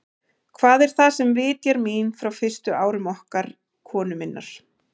Hvað er það, sem vitjar mín frá fyrstu árum okkar konu minnar?